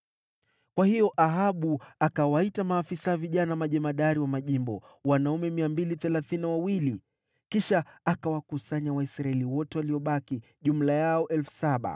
Kwa hiyo Ahabu akawaita maafisa vijana majemadari wa majimbo, wanaume 232. Kisha akawakusanya Waisraeli wote waliobaki, jumla yao 7,000.